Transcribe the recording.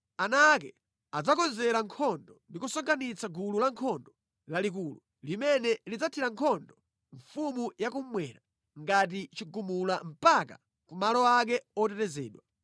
Ana ake adzakonzekera nkhondo ndi kusonkhanitsa gulu lankhondo lalikulu, limene lidzathira nkhondo mfumu yakummwera ngati chigumula mpaka kumalo ake otetezedwa.